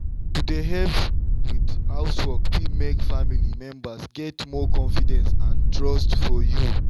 to dey help with housework fit make family members get more confidence and trust for you.